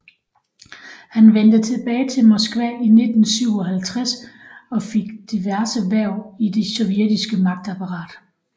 Han vendte tilbage til Moskva i 1957 og fik diverse hverv i det sovjetiske magtapparat